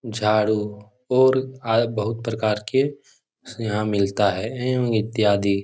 झाड़ू और आ बहुत प्रकार के यहाँ मिलता है एवं इत्यादि --